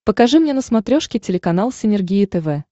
покажи мне на смотрешке телеканал синергия тв